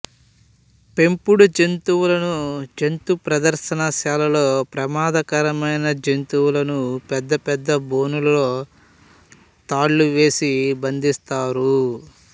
పెంపుడు జంతువులను జంతుప్రదర్శనశాలలో ప్రమాదకరమైన జంతువులను పెద్దపెద్ద బోనులలో తాళాలు వేసి బంధిస్తారు